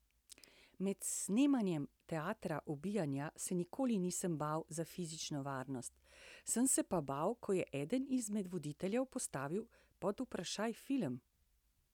Med snemanjem Teatra ubijanja se nikoli nisem bal za fizično varnost, sem se pa bal, ko je eden izmed voditeljev postavil pod vprašaj film.